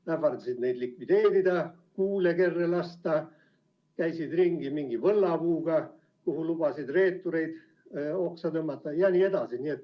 Nad ähvardasid neid likvideerida, kuule kerre lasta, käisid ringi mingi võllapuuga, kuhu lubasid reeturid oksa tõmmata, ja nii edasi.